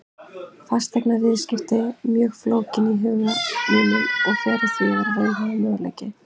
Fasteignaviðskipti voru mjög flókin í huga mínum og fjarri því að vera raunhæfur möguleiki.